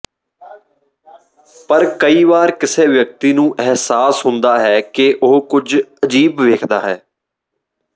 ਪਰ ਕਈ ਵਾਰ ਕਿਸੇ ਵਿਅਕਤੀ ਨੂੰ ਅਹਿਸਾਸ ਹੁੰਦਾ ਹੈ ਕਿ ਉਹ ਕੁਝ ਅਜੀਬ ਵੇਖਦਾ ਹੈ